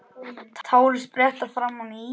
Tárin spretta fram á ný.